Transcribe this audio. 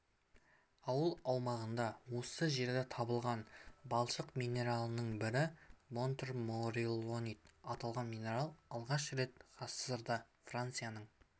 ауылы аумағында осы жерден табылған балшық минералының бірі монтмориллонит аталған минерал алғаш рет ғасырда францияның